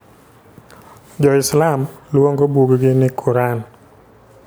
Jo Islam luongo buggi ni Qur'an.